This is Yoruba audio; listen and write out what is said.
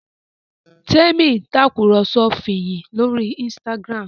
Temi Tàkùrọ̀sọ Fiyin lórí Instagram.